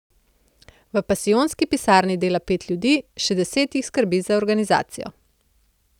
V pasijonski pisarni dela pet ljudi, še deset jih skrbi za organizacijo.